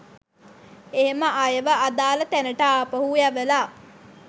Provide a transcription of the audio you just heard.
එහෙම අයව අදාළ තැනට ආපහු යවලා